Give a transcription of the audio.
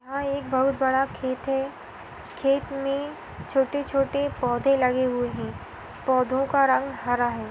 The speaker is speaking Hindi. बहुत बड़ा खेत हैं खेत में छोटे छोटे पौधे लगे हुए हैं पौधों का रंग हरा हैं।